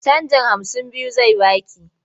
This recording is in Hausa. Canjin hamsin biyu zai ba ki.